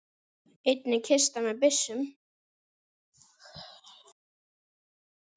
Einnig kista með byssum.